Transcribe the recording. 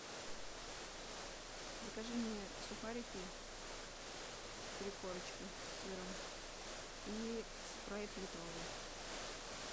закажи мне сухарики три корочки с сыром и спрайт литровый